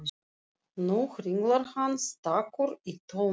Nú hringlar hann stakur í tómi.